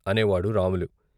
అనేవాడు రాములు.